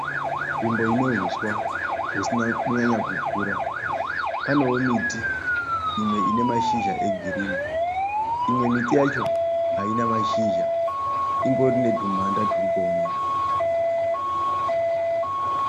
Nzvimbo ine huswa husina kunyanya kukura. Panewo miti imwe ine mashizha e girinhi. Imwe miti yacho haina mashizha, ingori netumhanda turi kuoneka.